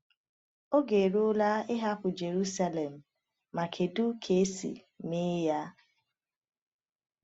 Oge eruola ịhapụ Jerusalem — ma kedu ka esi mee ya?